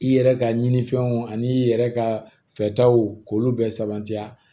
I yɛrɛ ka ɲinifɛnw ani i yɛrɛ ka fɛtaw k'olu bɛɛ sabati a